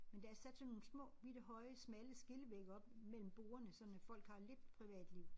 Men der er sat sådan nogle små bitte høje smalle skillevægge op mellem bordene sådan at folk har lidt privatliv